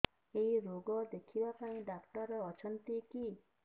ଏଇ ରୋଗ ଦେଖିବା ପାଇଁ ଡ଼ାକ୍ତର ଅଛନ୍ତି କି